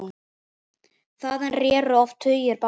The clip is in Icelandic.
Þaðan réru oft tugir báta.